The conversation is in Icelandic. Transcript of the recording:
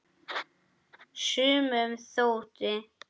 Sumum þótti!